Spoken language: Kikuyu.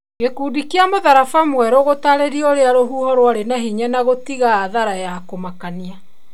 Gikundi kĩa mũtharaba mwerũ gĩtaririe urĩa rũhuho rwarĩ na hinya na gũtiga athara ya kũmakania